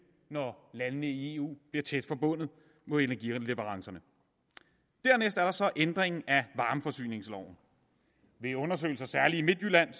når landene i eu bliver tæt forbundet på energileverancerne dernæst er der så ændringen af varmeforsyningsloven ved undersøgelser særlig i midtjylland